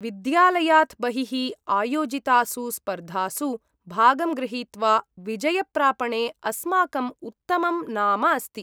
विद्यालयात् बहिः आयोजितासु स्पर्धासु भागं गृहीत्वा विजयप्रापणे अस्माकं उत्तमं नाम अस्ति।